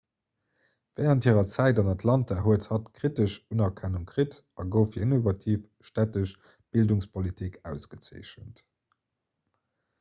wärend hirer zäit an atlanta huet hatt kritesch unerkennung kritt a gouf fir innovativ stättesch bildungspolitik ausgezeechent